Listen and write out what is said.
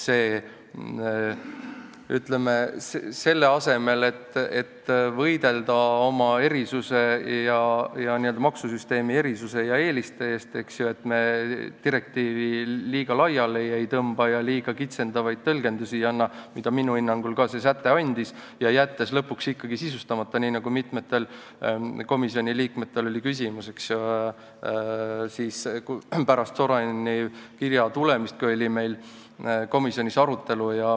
Ütleme, selle asemel, et võidelda maksusüsteemi erisuse ja eeliste eest, et me direktiivi liiga laiali ei tõmbaks ja liiga kitsendavaid tõlgendusi ei annaks – nii nagu minu hinnangul see säte andis, jättes lõpuks ikkagi mõned asjad sisustamata –, oli meil pärast Soraineni kirja tulemist komisjonis arutelu.